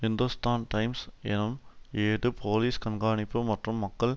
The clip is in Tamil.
இந்துஸ்தான் டைம்ஸ் எனும் ஏடு போலீஸ் கண்காணிப்பு மற்றும் மக்கள்